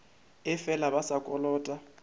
ee fela ba sa kolota